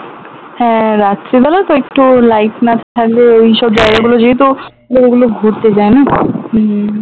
হ্যাঁ রাত্রি বেলা তো একটু light না থাকলে ওইসব জায়গা গুলো যেহেতু ওগুলো ঘুরতে যায় না হম